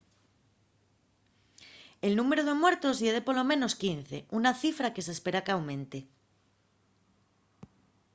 el númberu de muertos ye de polo menos 15 una cifra que s’espera qu’aumente